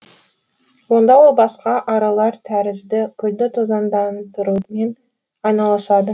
онда ол басқа аралар тәрізді гүлді тозаңдандырумен айналысады